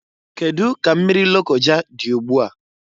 Kedu ka mmiri Lokoja dị ụgbụa?